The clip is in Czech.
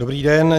Dobrý den.